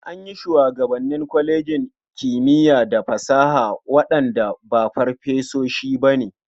An yi shugabanni kwalejin kimiya da fasaha waɗanda ba farfesoshi ba ne.